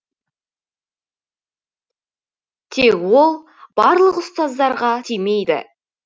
тек ол барлық ұстаздарға тимейді